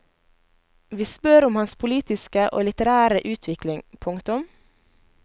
Vi spør om hans politiske og litterære utvikling. punktum